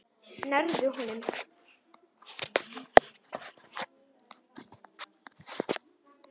Nærðu honum?